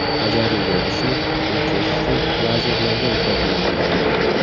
Bajarilgan ishni o‘lchash uchun lazerlardan foydalaniladi.